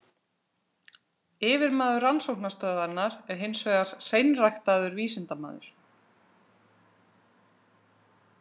Yfirmaður rannsóknastöðvarinnar er hins vegar „hreinræktaður“ vísindamaður.